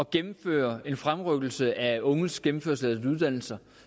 gennemfører en fremrykkelse af de unges gennemførelse af deres uddannelser